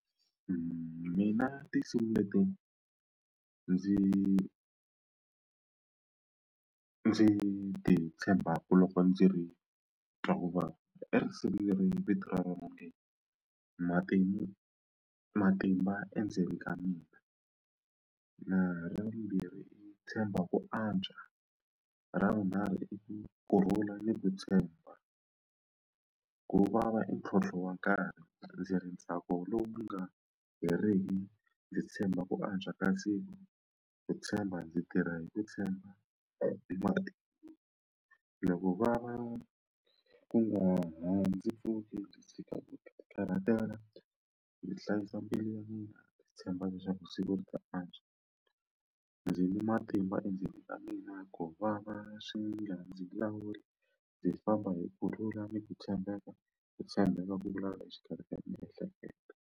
Mina tinsimu leti ndzi ndzi ti tshembaka loko ndzi ri twa kuvava i risimu leri vito ra leri nge matimu matimba endzeni ka mina ra vumbirhi i tshemba ku antswa ra vunharhu i ku kurhula ni ku tshemba ku vava i ntlhontlho wa nkarhi ndzi ri ntsako lowu nga heriki ndzi tshemba ku antswa ka siku ku tshemba ndzi tirha hi ku tshemba loko va va ku nga ha ndzi pfuki ndzi tshika ku ti karhatela ndzi hlayisa mbilu ya mina ndzi tshemba leswaku siku ri ta antswa ndzi ni matimba endzeni ka mina ku vava swi nga ndzi lawuli ndzi famba hi kurhula ni ku tshembeka ku tshembeka ku exikarhi ka miehleketo.